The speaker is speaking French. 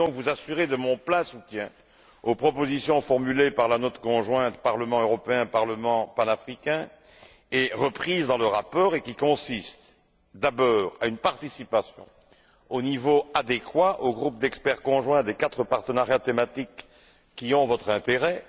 Je peux donc vous assurer de mon soutien total aux propositions formulées par la note conjointe Parlement européen Parlement panafricain et reprises dans le rapport et qui consistent, d'abord en une participation au niveau adéquat au groupe d'experts conjoints des quatre partenariats thématiques qui ont votre intérêt.